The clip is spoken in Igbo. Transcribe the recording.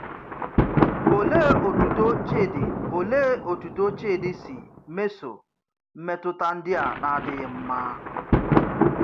Òlèè òtùtò Chídì Òlèè òtùtò Chídì sὶ mesòò mmetụta ndì à nà-àdịghị mma?